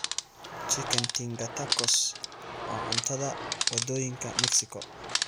Chicken tinga tacos waa cuntada wadooyinka Mexico.